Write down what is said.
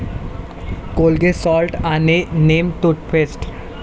Colgate salt आणि neem toothpaste